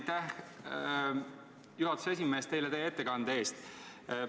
Aitäh, juhatuse esimees, teile teie ettekande eest!